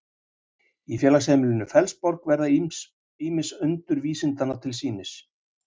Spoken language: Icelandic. Í félagsheimilinu Fellsborg verða ýmis undur vísindanna til sýnis.